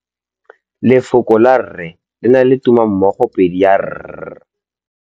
Lefoko la rre, le na le tumammogôpedi ya, r.